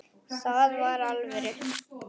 Það var alvöru.